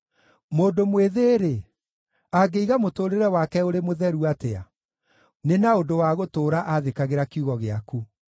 Mũndũ mwĩthĩ-rĩ, angĩiga mũtũũrĩre wake ũrĩ mũtheru atĩa? Nĩ na ũndũ wa gũtũũra athĩkagĩra kiugo gĩaku.